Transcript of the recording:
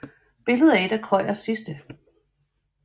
Billedet er et af Krøyers sidste